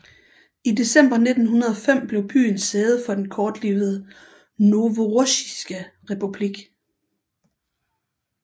I december 1905 blev byen sæde for den kortlivede Novorossijske Republik